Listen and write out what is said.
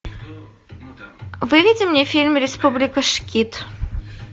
выведи мне фильм республика шкид